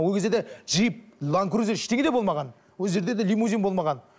ол кезде де джип ланкрузер ештеңе де болмаған ол кездерде де лимузин болмаған